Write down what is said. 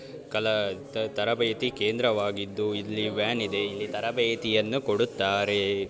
ಕಲಾ ತರಬೇತಿ ಕೇಂದ್ರವಾಗಿದ್ದು ಇಲ್ಲಿ ವ್ಯಾನ್ ಇದೆ ಇಲ್ಲಿ ತರಬೇತಿಯನ್ನು ಕೊಡುತ್ತಾರೆ.